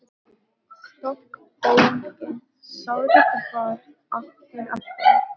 Stokkbólgið sárið varð aftur að vör.